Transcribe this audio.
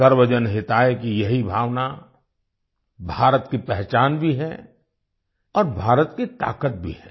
सर्वजन हिताय की यही भावना भारत की पहचान भी है और भारत की ताकत भी है